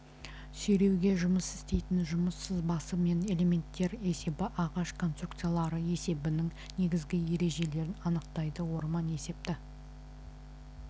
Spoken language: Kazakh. сүйреуге жұмыс істейтін жұмыс сызбасы мен элементтер есебі ағаш конструкциялары есебінің негізгі ережелерін анықтайды орман есепті